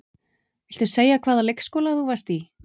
Viltu segja hvaða leikskóla þú varst í?